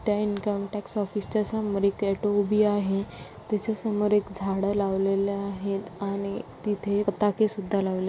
त्या income tax office च्या समोर एक ऑटो आहे. त्याच्या समोर एक झाड लावलेल आहेत आणि तिथे पताके सुद्धा लावले --